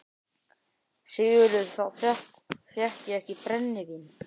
SIGURÐUR: Þá fékk ég ekki brennivín.